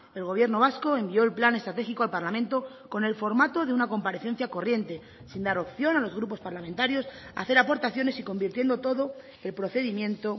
el gobierno vasco envió el plan estratégico al parlamento con el formato de una comparecencia corriente sin dar opción a los grupos parlamentarios a hacer aportaciones y convirtiendo todo el procedimiento